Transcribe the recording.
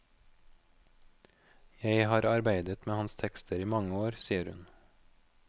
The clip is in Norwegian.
Jeg har arbeidet med hans tekster i mange år, sier hun.